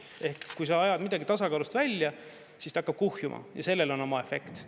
Ehk kui sa ajad midagi tasakaalust välja, siis ta hakkab kuhjuma ja sellel on oma efekt.